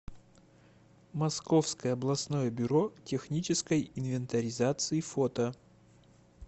московское областное бюро технической инвентаризации фото